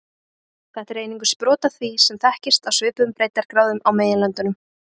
Þetta er einungis brot af því sem þekkist á svipuðum breiddargráðum á meginlöndunum.